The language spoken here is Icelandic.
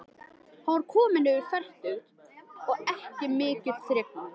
Hann var kominn yfir fertugt og ekki mikill þrekmaður.